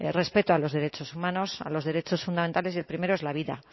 respeto a los derechos humanos a los derechos fundamentales y el primero es la vida